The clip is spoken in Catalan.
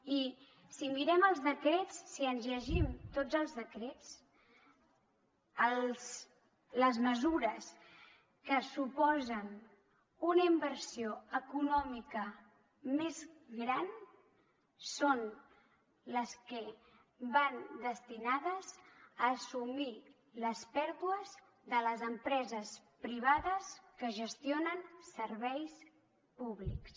i si mirem els decrets si ens llegim tots els decrets les mesures que suposen una inversió econòmica més gran són les que van destinades a assumir les pèrdues de les empreses privades que gestionen serveis públics